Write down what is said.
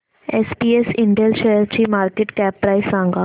SPS Intel शेअरची market cap price सांगा